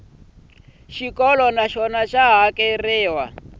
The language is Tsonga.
xikolo na xona xa hakeriwa